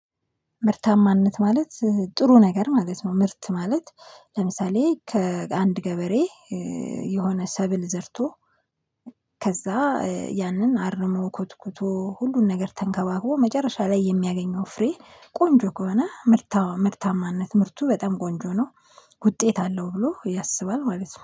ምርታማነት ማለት ጥሩ ነገር ማለት ነው። ምርት ማለት ለምሳሌ ከአንድ ገበሬ የሆነ ሰብል ዘርቶ ከዛ ያንን አርሞ ኮትኩቶ ሁሉን ነገር ተንከባክቦ መጨረሻ ላይ የሚያገኘው ፍሬ ቆንጆ ከሆነ ምርታ ምርታማነት ምርቱ በጣም ቆንጆ ነው። ውጤት አለው ብሎ ያስባል ማለት ነው።